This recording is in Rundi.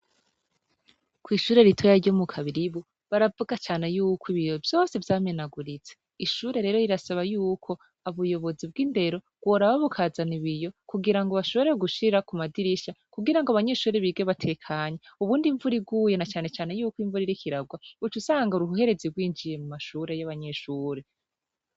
Kw'ishure ritoya ryo mu kabiribu baravuga cane yuko ibiyo vyose vyamenaguritse ishure rero rirasaba yuko abuyobozi bw'indero rworaba bukazana ibiyo kugira ngo bashoborewe gushira ku madirisha kugira ngo abanyeshure bige batekanya ubundi imvuriguyena canecane yuko imvura irikiragwa ucu usanga ura uhuherezi rwinjiye mu mashure ure yo abanyeshure.